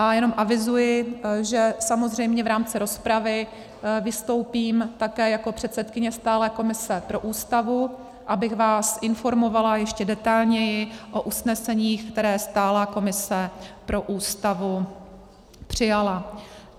A jenom avizuji, že samozřejmě v rámci rozpravy vystoupím také jako předsedkyně stálé komise pro Ústavu, abych vás informovala ještě detailněji o usneseních, která stálá komise pro Ústavu přijala.